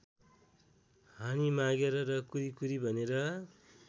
हानिमागेर र कुरी कुरी भनेर